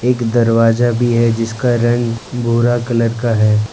एक दरवाजा भी है जिसका रंग भूरा कलर का है।